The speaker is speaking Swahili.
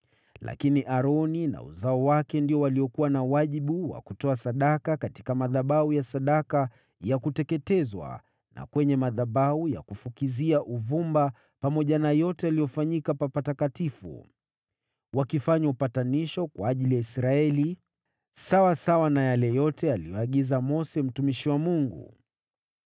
Lakini Aroni na uzao wake ndio waliokuwa na wajibu wa kutoa sadaka katika madhabahu ya sadaka ya kuteketezwa na kwenye madhabahu ya kufukizia uvumba pamoja na yote yaliyofanyika pa Patakatifu, wakifanya upatanisho kwa ajili ya Israeli, sawasawa na yale yote aliyoagiza Mose mtumishi wa Mungu.